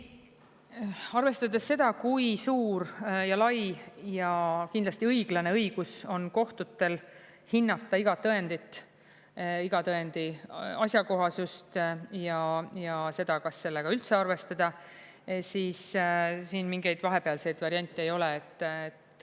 Ei, arvestades seda, kui suur ja lai ja kindlasti õiglane õigus on kohtutel hinnata iga tõendit, iga tõendi asjakohasust ja seda, kas sellega üldse arvestada, siis siin mingeid vahepealseid variante ei ole.